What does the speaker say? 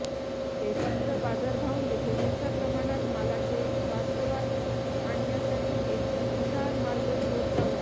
ते फक्त बाजारभाव येथे मोठ्या प्रमाणात मालाचे वास्तवात आणण्यासाठी एक हुशार मार्ग शोध लावला